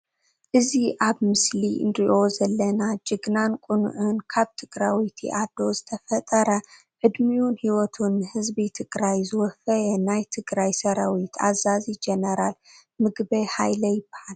እዚ ኣብ ምስሊ እንሪኣ ዘአና ጅግናን ቅኑዕን ፡ካብ ትግራወይቲ ኣዶ ዝተፈጠረ ዕድሚኡን ሂወቱን ንህዝቢ ትግራይ ዘወፈየ ናይ ትግራይ ሰራዊት ኣዛዚ ጀነራል ምግበይ ሃይለ ይበሃል።